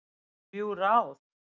Þrjú ráð